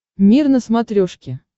мир на смотрешке